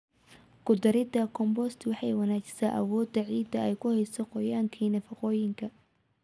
Ku darida compost waxay wanaajisaa awooda ciidda ay ku hayso qoyaanka iyo nafaqooyinka.